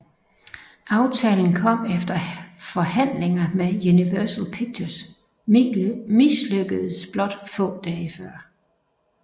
Aftalen kom efter forhandlinger med Universal Pictures mislykkedes blot få dage før